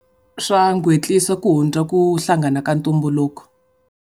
Swa ku hundza ku hlangana ka ntumbuluko.